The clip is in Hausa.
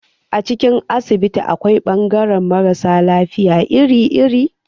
A cikin asibiti akwai bangaran mara sa lafiya iri-iri.